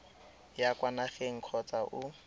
ya kwa nageng kgotsa o